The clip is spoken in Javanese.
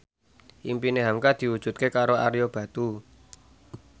impine hamka diwujudke karo Ario Batu